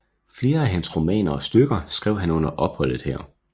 Flere af hans romaner og stykker skrev han under opholdet her